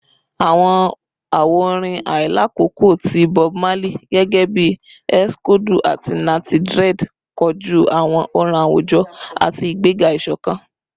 Awọn awo-orin ailakoko ti Bob Marley gẹgẹbi “Eksodu” ati “Natty Dread” koju awọn ọran awujọ ati igbega isokan